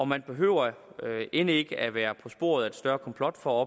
man behøver end ikke at være på sporet af et større komplot for at